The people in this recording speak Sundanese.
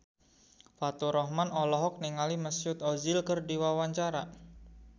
Faturrahman olohok ningali Mesut Ozil keur diwawancara